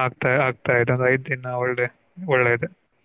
ಆಗ್ತಾ ಆಗ್ತಾ ಇದೆ ಈಗ ಒಂದು ಐದ್ ದಿನ ಒಳ್ಳೆ ಒಳ್ಳೆ ಇದೆ. Okay.